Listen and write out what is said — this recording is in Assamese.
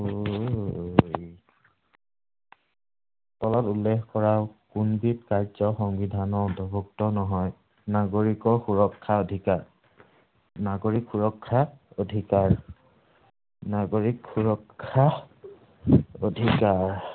তলত উল্লেখ কৰা কোনবিধ কাৰ্য্য সংবিধানৰ অন্তৰ্ভুক্ত নহয়। নাগৰিকৰ সুৰক্ষা অধিকাৰ। নাগৰিক সুৰক্ষা অধিকাৰ। নাগৰিক সুৰক্ষা অধিকাৰ।